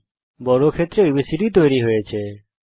একটি বর্গক্ষেত্র এবিসিডি তৈরী হয়ে গেছে